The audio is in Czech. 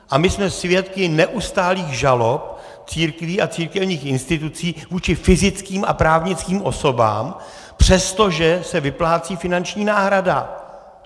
A my jsme svědky neustálých žalob církví a církevních institucí vůči fyzickým a právnickým osobám, přestože se vyplácí finanční náhrada!